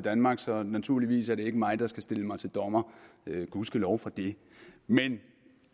danmark så naturligvis er det ikke mig der skal stille mig til dommer og gud ske lov for det men